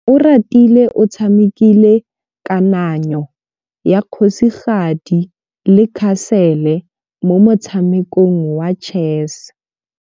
Oratile o tshamekile kananyô ya kgosigadi le khasêlê mo motshamekong wa chess.